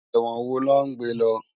Èwòn wó lò n gbé lò?